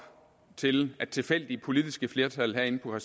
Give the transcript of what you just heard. til at tilfældige politiske flertal herinde på